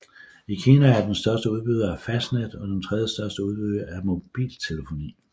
I Kina er den den største udbyder af fastnet og den tredjestørste udbyder af mobiltelefoni